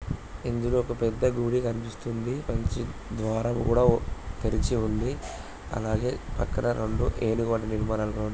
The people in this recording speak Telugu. ఇందులో ఒక పెద్దగుడి కనిపిస్తూయింది మంచి ద్వారం కూడా కలిగి ఉంది. అలాగే అక్కడ రెండు ఏనుగు--